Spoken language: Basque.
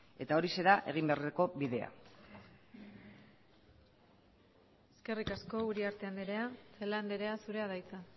eta hori da egin beharreko bidea eskerrik asko uriarte andrea celaá andrea zurea da hitza